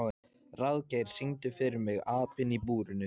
Ráðgeir, syngdu fyrir mig „Apinn í búrinu“.